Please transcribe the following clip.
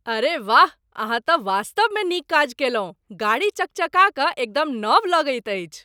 अरे वाह! अहाँ तँ वास्तवमे नीक काज कयलहुँ। गाड़ी चकचका कए एकदम नव लगैत अछि!